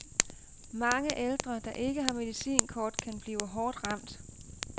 Mange ældre, der ikke har medicinkort, kan blive hårdt ramt.